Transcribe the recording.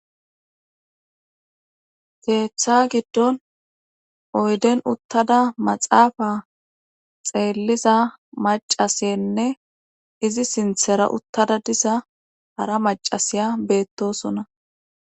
Keeththa giddon oyden uttada maxaafa xeelliza macasenne izi sinthera uttada disa hara macasiya beettosona